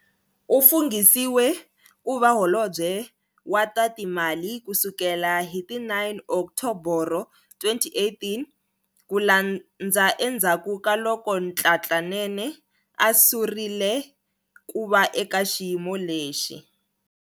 U funghisiwe ku va Holobye wa ta Timali ku sukela hi ti 9 Oktoboro 2018, ku landza endzhaku ka loko Nhlanhla Nene a surile ku va eka xiyimo lexi.